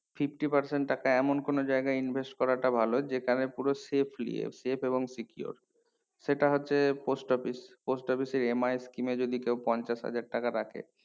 fifty percent টাকা এমন কোনো জায়গায় invest করাটা ভালো যেকানে পুরো savely আছে এবং save এবং secure সেটা হচ্ছে post office post office এর MIS কিনে যদি কেও পঞ্চাশ হাজার টাকা রাখে